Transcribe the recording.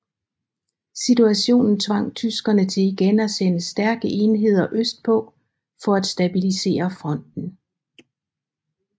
Situationen tvang tyskerne til igen at sende stærke enheder østpå for at stabilisere fronten